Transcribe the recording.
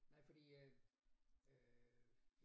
Nej fordi øh øh